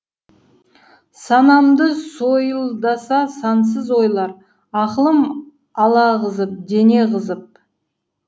санамды сойылдаса сансыз ойлар ақылым алағызып дене қызып